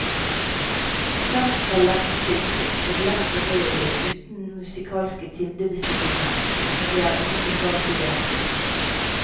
Konserten var lettygd og lettfordøyelig, uten musikalske tindebestigninger, men det er ingenting galt i det.